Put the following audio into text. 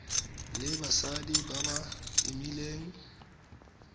le basadi ba ba imileng